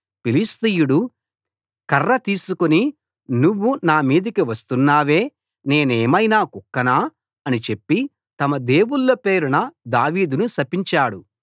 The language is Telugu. ఫిలిష్తీయుడు కర్ర తీసుకు నువ్వు నా మీదికి వస్తున్నావే నేనేమైనా కుక్కనా అని చెప్పి తమ దేవుళ్ళ పేరున దావీదును శపించాడు